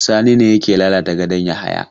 Sani ne yake lalata gadon Yahaya?